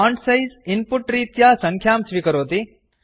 font size input रीत्या सङ्ख्यां स्वीकरोति